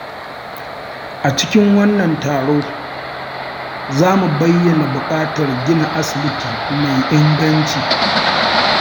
A cikin wannan taro, za mu bayyana buƙatar gina asibiti mai inganci.